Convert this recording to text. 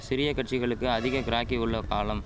சிறிய கட்சிகளுக்கு அதிக கிராக்கி உள்ள காலம்